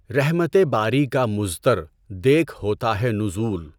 رحمتِ باری کا مُضطَرؔ دیکھ ہوتا ہے نزول